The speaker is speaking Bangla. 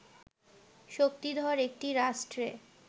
শক্তিধর একটি রাষ্ট্রে